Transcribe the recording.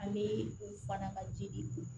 Ani u fana ka jidi